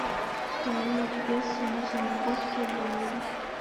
поменять песо на сингапурские доллары